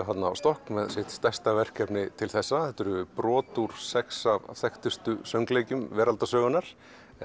þarna á stokk með sitt stærsta verkefni til þessa þetta eru brot úr sex af þekktustu söngleikjum veraldarsögunnar